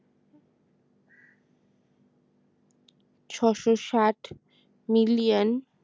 ছশোষাট million